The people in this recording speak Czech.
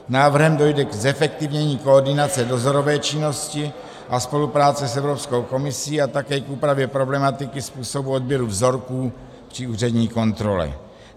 Návrhem dojde k zefektivnění koordinace dozorové činnosti a spolupráce s Evropskou komisí a také k úpravě problematiky způsobu odběru vzorků při úřední kontrole.